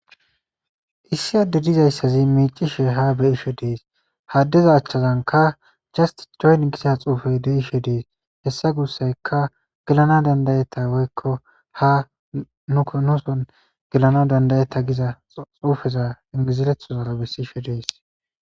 Issi adde dizayssazi miicishe ha beisho dees haddeza achchazanka jast joyn gisa xuufey deishe dees hessa gussayka gelana dandayetta woykko ha nukonoson gelana dandayetta giza xuufeza ingizirethozara bessiisho dees.